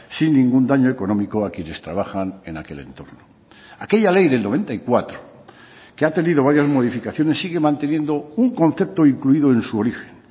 sin ningún daño económico a quienes trabajan en aquel entorno aquella ley del noventa y cuatro que ha tenido varias modificaciones sigue manteniendo un concepto incluido en su origen